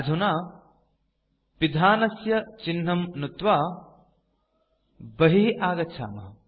अधुना पिधानस्य चिह्नं नुत्त्वा कैल्कुलेटर तः बहिः आगच्छामः